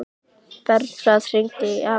Bernharð, hringdu í Emilíu.